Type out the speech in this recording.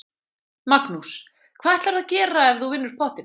Magnús: Hvað ætlarðu að gera ef þú vinnur pottinn?